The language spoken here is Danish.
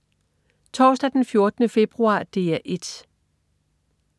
Torsdag den 14. februar - DR 1: